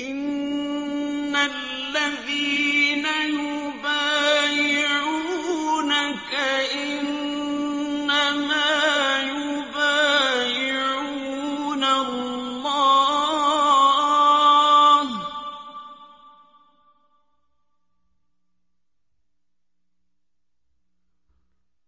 إِنَّ الَّذِينَ يُبَايِعُونَكَ إِنَّمَا يُبَايِعُونَ اللَّهَ